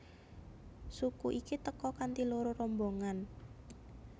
Suku iki teka kanthi loro rombongan